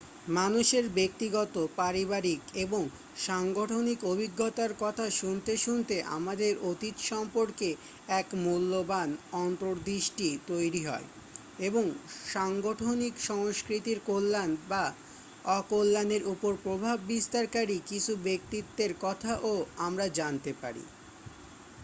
মানুষের ব্যক্তিগত পারিবারিক এবং সাংগঠনিক অভিজ্ঞতার কথা শুনতে শুনতে আমাদের অতীত সম্পর্কে এক মূল্যবান অন্তঃদৃষ্টি তৈরি হয় এবং সাংগঠনিক সংস্কৃতির কল্যাণ বা অকল্যাণের উপর প্রভাব বিস্তারকারী কিছু ব্যক্তিত্বের কথাও আমরা জানতে পারি